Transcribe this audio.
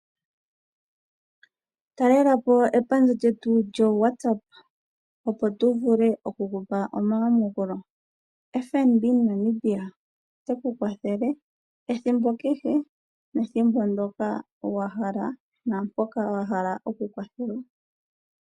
Talelapo epandja lyetu lyopamalungula (lyo WhatsApp) opo tu vule okukupa omayamukulo. Ombaanga yotango yopashigwana ota yi ku kwathele ethimbo kehe, nethimbo ndyoka wa hala, naampoka wa hala okukwathelwa.